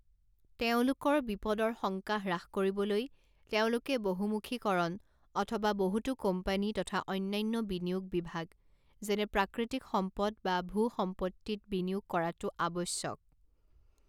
তেওঁলোকৰ বিপদৰ শংকা হ্ৰাস কৰিবলৈ তেওঁলোকে বহুমুখীকৰণ অথবা বহুতো কোম্পানী তথা অন্যান্য বিনিয়োগ বিভাগ যেনে প্ৰাকৃতিক সম্পদ বা ভূ সম্পত্তিত বিনিয়োগ কৰাটো আৱশ্যক।